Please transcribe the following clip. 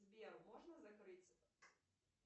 сбер можно закрыть